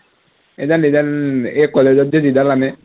এইডাল এইডাল এই college ত যে যিডাল আনে